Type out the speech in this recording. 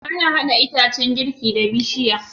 Ana hada itacan girki da bishiya